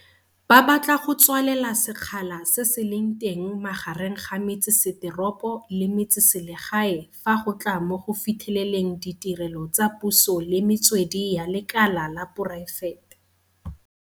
Ba batla go tswalela sekgala se se leng teng magareng ga metseseteropo le metseselegae fa go tla mo go fitlheleleng ditirelo tsa puso le metswedi ya lekala la poraefete.